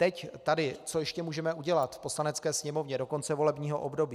Teď, tady, co ještě můžeme udělat v Poslanecké sněmovně do konce volebního období.